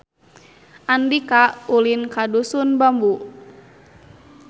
Andika ulin ka Dusun Bambu